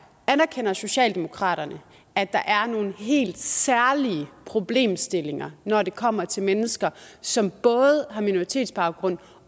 anerkender socialdemokraterne at der er nogle helt særlige problemstillinger når det kommer til mennesker som både har minoritetsbaggrund